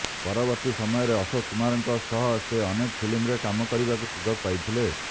ପରବର୍ତ୍ତୀ ସମୟରେ ଅଶୋକ କୁମାରଙ୍କ ସହ ସେ ଅନେକ ଫିଲ୍ମରେ କାମ କରିବାକୁ ସୁଯୋଗ ପାଇଥିଲେ